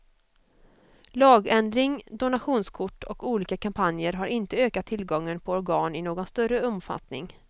Lagändring, donationskort och olika kampanjer har inte ökat tillgången på organ i någon större omfattning.